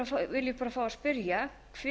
vil ég bara fá að spyrja